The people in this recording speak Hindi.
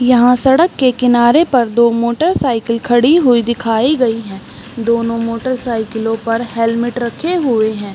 यहाँ सड़क के किनारे पर दो मोटरसाइकिल खड़ी हुई दिखाई गई है दोनों मोटरसाइकिलों पर हेलमेट रखे गए हैं ।